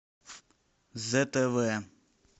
зтв